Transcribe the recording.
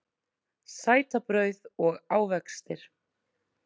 Sætabrauð og ávextir